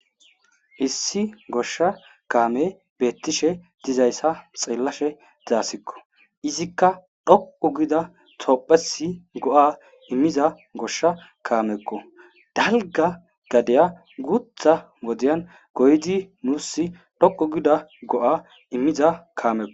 Issi goshsha kaamey beettishe dizayssa xeellashe de'aysikko. Izikka dhoqqu gida tophphiyas go'a immiza goshsha kaamekko. Dalgga gadiya guuththa wodiyan goyidi wursi dhoqqu gida go'a immiza kaamekko.